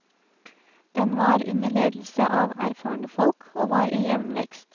Den var under ledelse av erfarne folk, og var i jevn vekst.